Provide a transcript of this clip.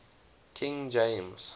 king james